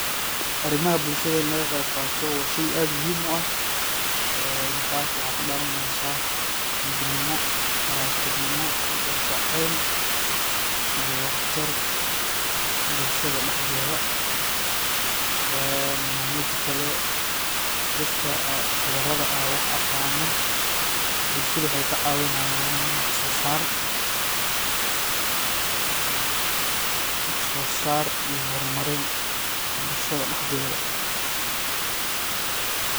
Arimaha bulshada in laga qeib qato waa shey aad muhim uah . ee tas waxa kadalaneysa midnino, walaltinimo, gal gacel iyo waxtar bulshada daxdedha. een midi kale dadka qubarada ah wax aqano bulshada waxay kacawinayan wax sosar iyo hor marin bulshada daxdedha.